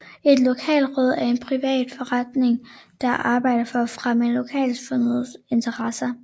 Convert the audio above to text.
Et lokalråd er en privat forening der arbejder for at fremme lokalsamfundets interesser